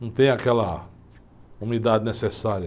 Não tem aquela umidade necessária.